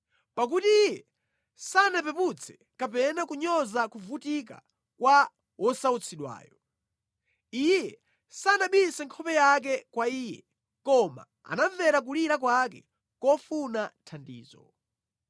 Pakuti Iye sanapeputse kapena kunyoza kuvutika kwa wosautsidwayo; Iye sanabise nkhope yake kwa iye. Koma anamvera kulira kwake kofuna thandizo.